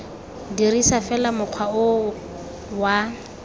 dirisa fela mokgwa o wa